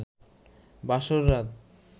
বাসর রাত